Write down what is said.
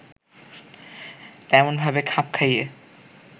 তেমনভাবে খাপ খাইয়ে